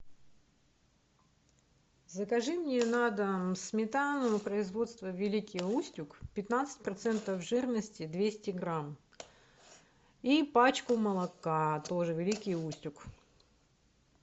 закажи мне на дом сметану производства великий устюг пятнадцать процентов жирности двести грамм и пачку молока тоже великий устюг